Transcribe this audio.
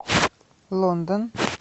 лондон